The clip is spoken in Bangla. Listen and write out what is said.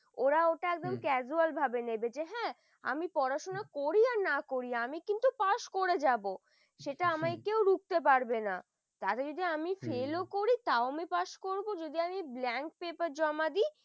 ওরা ওটা একবারে casual ভাবে নেবে হম যে হাঁ আমি পড়াশোনা করি আর না করি কিন্তু pass করে যাব সেটা আমাকে রুখতে পারবে না তাতে যদি আমি fail করি তাও আমি pass করব যদি আমি blank paper জমা দি